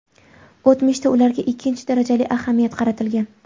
O‘tmishda ularga ikkinchi darajali ahamiyat qaratilgan.